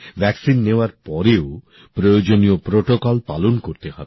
টিকা নেওয়ার পরেও প্রয়োজনীয় বিধি পালন করতে হবে